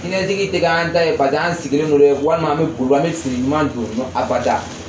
Siniɲɛsigi tɛ k'an ta ye paseke an sigilen don dɛ ye walima an bɛ boli boli an bɛ fini ɲuman don abada.